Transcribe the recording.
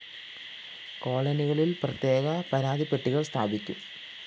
കോളനികളില്‍ പ്രത്യേക പരാതിപ്പെട്ടികള്‍ സ്ഥാപിക്കും